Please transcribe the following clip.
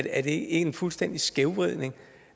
er det ikke en fuldstændig skævvridning